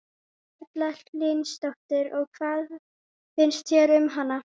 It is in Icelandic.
Erla Hlynsdóttir: Og hvað finnst þér um hann?